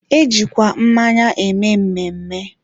e jikwa mmanya eme mmemme.